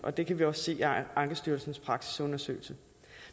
det kan vi også se af ankestyrelsens praksisundersøgelse